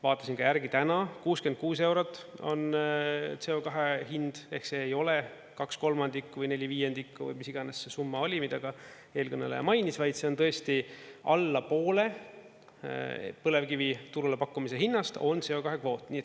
Vaatasin ka järgi täna: 66 eurot on CO2 hind ehk see ei ole kaks kolmandikku või neli viiendikku või mis iganes see summa oli, mida ka eelkõneleja mainis, vaid see on tõesti alla poole põlevkivi turule pakkumise hinnast on CO2 kvoot.